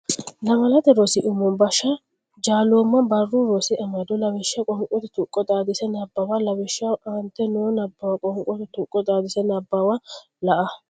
Lamalate Rosi Umo Busha Jaalooma Barru Rosi Amado Lawishsha Qoonqote tuqqo xaadise nabbawa lawishshaho aantete noo Nabbawa qoonqote tuqqo xaadise nabbawanna la e.